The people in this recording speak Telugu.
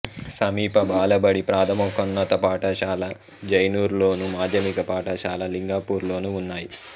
సమీప బాలబడి ప్రాథమికోన్నత పాఠశాల జైనూర్లోను మాధ్యమిక పాఠశాల లింగాపూర్లోనూ ఉన్నాయి